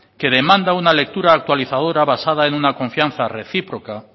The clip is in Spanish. que demanda una lectura actualizadora basada en una confianza recíproca